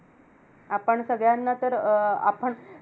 आपण सगळ्यांना तर अं आपण